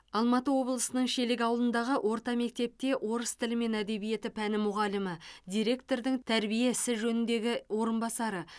алматы облысы шелек ауылындағы орта мектепте орыс тілі мен әдебиеті пәні мұғалімі директордың тәрбие ісі жөніндегі орынбасары